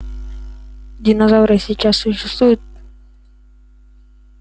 динозавры сейчас существуют